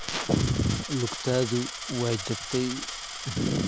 Lugtaadu way jabtay.